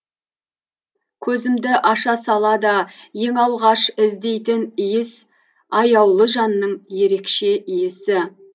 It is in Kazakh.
көзімді аша сала да ең алғаш іздейтін иіс аяулы жанның ерекше иісі